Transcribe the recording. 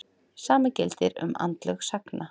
Sama gildir um andlög sagna.